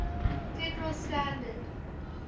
federal standard